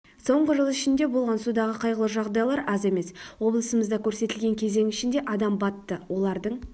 соңғы жыл ішінде болған судағы қайғылы жағдайлар аз емес облысымызда көрсетілген кезең ішінде адам батты олардың